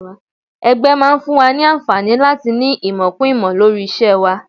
Ẹgbẹ́ máa ń fún wa ní àǹfààní láti ní ìmọ̀ kún ìmọ̀ lórí iṣẹ́ wa